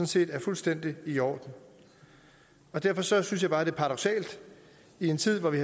set er fuldstændig i orden derfor synes jeg bare det er paradoksalt i en tid hvor vi